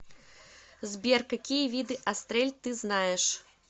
сбер какие виды астрель ты знаешь